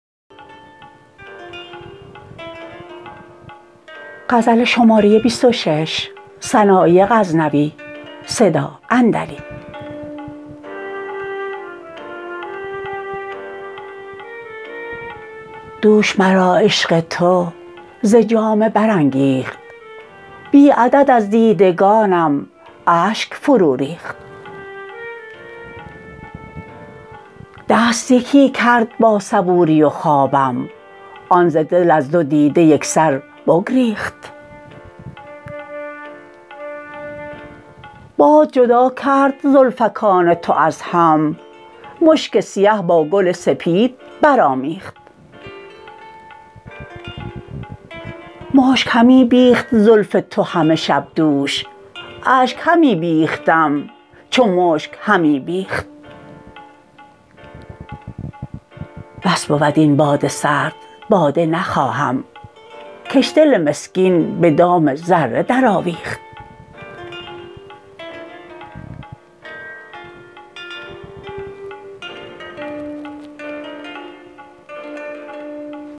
دوش مرا عشق تو ز جامه برانگیخت بی عدد از دیدگانم اشگ فرو ریخت دست یکی کرد با صبوری و خوابم آن ز دل از دو دیده یکسر بگریخت باد جدا کرد زلفکان تو از هم مشک سیه با گل سپید برآمیخت مشک همی بیخت زلف تو همه شب دوش اشگ همی بیختم چو مشک همی بیخت بس بود این باد سرد باده نخواهم کش دل مسکین به دام ذره در آویخت